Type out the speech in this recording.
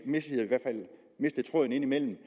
mistede i hvert fald tråden indimellem